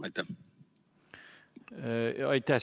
Aitäh!